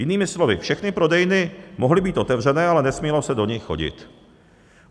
Jinými slovy všechny prodejny mohly být otevřené, ale nesmělo se do nich chodit.